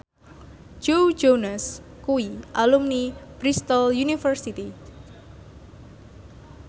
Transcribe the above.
Joe Jonas kuwi alumni Bristol university